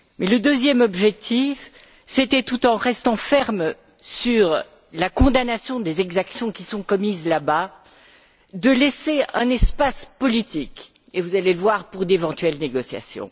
Le deuxième objectif, c'était, tout en restant ferme sur la condamnation des exactions qui sont commises là bas, de laisser un espace politique, et vous allez le voir, pour d'éventuelles négociations.